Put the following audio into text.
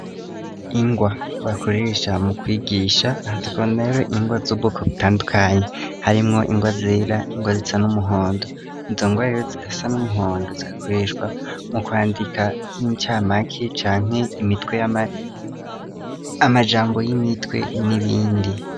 Ingwa bakoresha mu kwigisha afatwnarero ingwa z'ubwoko butandukanye harimwo ingwa zera ingwa zisa n'umuhondo inzongoarero zigasa n'umuhondo zigakoreshwa mu kwandika nk'icamake canke imitwe amajambo y'imitwe n'ibindi.